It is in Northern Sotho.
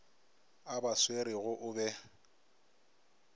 a ba swerego o be